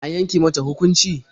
An yanke mata hukunci?